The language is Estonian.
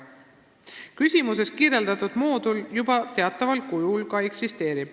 Küsimuses kirjeldatud moodul teataval kujul ka juba eksisteerib.